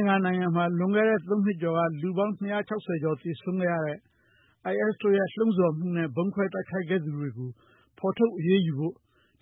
င်္ကာနိုင်ငံမှာ လွန်ခဲ့တဲ့ ၃ နှစ်ကျော်က လူပေါင်း ၂၆၀ ကျော် သေဆုံးခဲ့ရတဲ့ IS တို့ရဲ့ လှုံ့ဆော်မှုနဲ့ ဗုံးခွဲတိုက်ခိုက်ခဲ့သူတွေကို ဖော်ထုတ်အရေးယူဖို့